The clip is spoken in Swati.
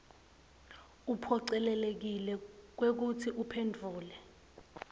uphocelekile kwekutsi uphendvule